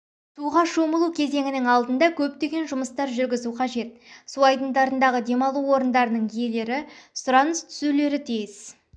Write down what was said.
суға шомылу кезеңінің алдында көптеген жұмыстар жүргізу қажет су айдндарындағы демалу орындарының иелері сұраныс түсірулері тиіс